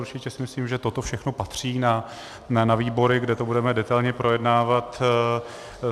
Určitě si myslím, že toto všechno patří na výbory, kde to budeme detailně projednávat.